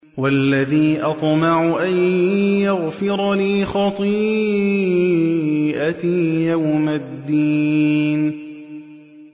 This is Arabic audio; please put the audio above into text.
وَالَّذِي أَطْمَعُ أَن يَغْفِرَ لِي خَطِيئَتِي يَوْمَ الدِّينِ